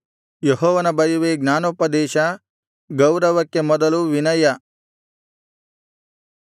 ಯೆಹೋವನ ಭಯವೇ ಜ್ಞಾನೋಪದೇಶ ಗೌರವಕ್ಕೆ ಮೊದಲು ವಿನಯ